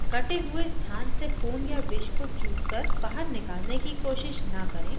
कटे हुए स्थान से खून या विष को चूसकर बाहर निकालने की कोशिश न करें